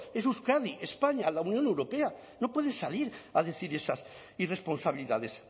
es euskadi españa la unión europea no puede salir a decir esas irresponsabilidades